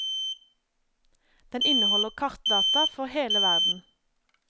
Den inneholder kartdata for hele verden.